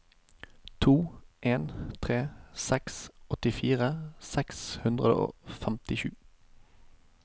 to en tre seks åttifire seks hundre og femtisju